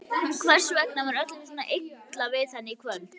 Hvers vegna var öllum svona illa við hann í kvöld?